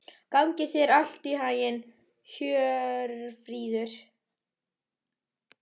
Gangi þér allt í haginn, Hjörfríður.